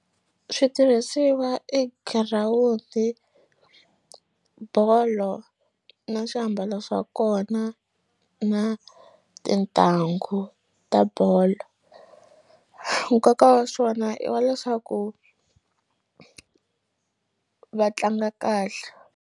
Switirhisiwa i girawundi, bolo na swiambalo swa kona na tintangu ta bolo nkoka wa swona i wa leswaku va tlanga kahle.